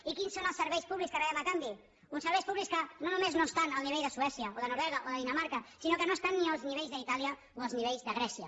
i quins són els serveis públics que rebem a canvi uns serveis públics que no només no estan al nivell de suècia o de noruega o de dinamarca sinó que no estan ni als nivells d’itàlia o als nivells de grècia